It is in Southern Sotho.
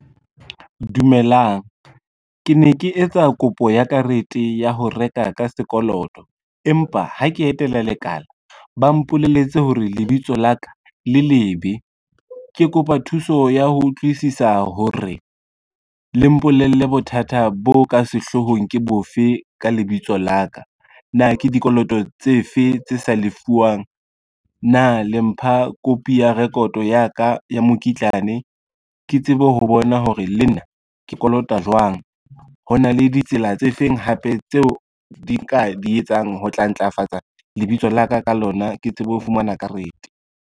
Dumelang, ke ne ke etsa kopo ya karete ya ho reka ka sekoloto empa ha ke etela lekala, ba mpolelletse hore lebitso la ka le lebe, ke kopa thuso ya ho utlwisisa hore le mpolelle bothata bo ka sehlohong ke bofe ka lebitso la ka. Na ke dikoloto tse fe tse sa lefuwang, na le mpha copy ya record ya ka ya mokitlane, ke tsebe ho bona hore le nna ke kolota jwang. Ho na le ditsela tse feng hape tseo di ka di etsang ho tla ntlafatsa lebitso la ka ka lona ke tsebe ho fumana karete.